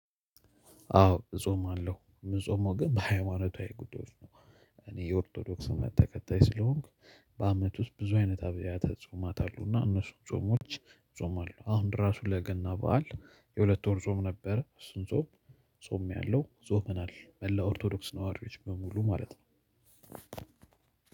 አዎ እጾማለሁ ምጾመው ግን በሃይማኖታዊ ጉዳዮች ነው። እኔ የኦርቶዶክስ እምነት ተከታይ ስለሆንኩ። በአመት ውስጥ ብዙ አይነት አብያተ ጾማት አሉ። እና እነሱን ጾሞች ጾማለው። አሁን ራሱ ለገና በዓል የሁለቱን ጾም ነበር እሱን ጾም ጾምያለሁ። ጾመናል መላው ኦርቶዶክስ ነዋሪዎች በሙሉ ማለት ነው።